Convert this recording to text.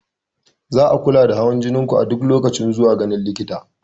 Za a kula da hawan jinin ku a duk lokacin zuwa ganin likita.